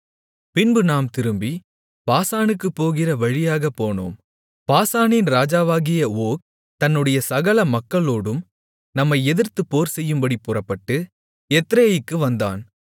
பின்பு நாம் திரும்பி பாசானுக்குப்போகிற வழியாகப் போனோம் பாசானின் ராஜாவாகிய ஓக் தன்னுடைய சகல மக்களோடும் நம்மை எதிர்த்துப் போர்செய்யும்படிப் புறப்பட்டு எத்ரேயிக்கு வந்தான்